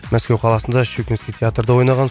мәскеу қаласында щукинский театрда ойнаған